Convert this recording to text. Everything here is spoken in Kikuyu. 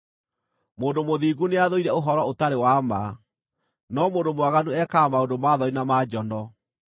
Mũndũ mũthingu nĩathũire ũhoro ũtarĩ wa ma, no mũndũ mwaganu ekaga maũndũ ma thoni na ma njono.